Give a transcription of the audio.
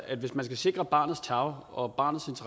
at hvis man skal sikre barnets tarv og barnets